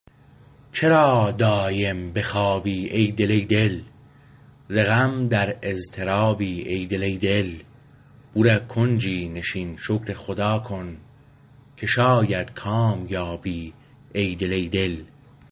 چرا دایم به خوابی ای دل ای دل ز غم در اضطرابی ای دل ای دل بوره کنجی نشین شکر خدا کن که شاید کام یابی ای دل ای دل